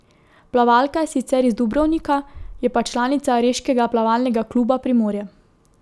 Plavalka je sicer iz Dubrovnika, je pa članica reškega plavalnega kluba Primorje.